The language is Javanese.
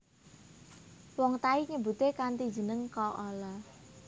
Wong Thai nyebute kanthi jeneng kaalaa